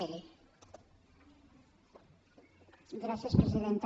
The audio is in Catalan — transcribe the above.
gràcies presidenta